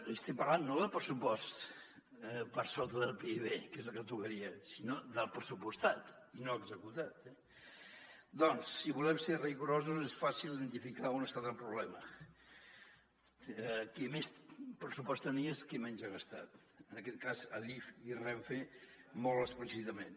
li estic parlant no de pressupost per sota del pib que és el que tocaria sinó del pressupostat i no executat eh doncs si volem ser rigorosos és fàcil identificar on ha estat el problema qui més pressupost tenia és qui menys ha gastat en aquest cas adif i renfe molt explícitament